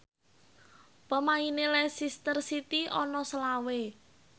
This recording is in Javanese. pemaine Leicester City ana selawe